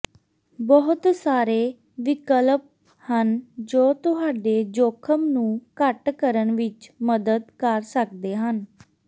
ਬਹੁਤ ਸਾਰੇ ਵਿਕਲਪ ਹਨ ਜੋ ਤੁਹਾਡੇ ਜੋਖਮ ਨੂੰ ਘੱਟ ਕਰਨ ਵਿੱਚ ਮਦਦ ਕਰ ਸਕਦੇ ਹਨ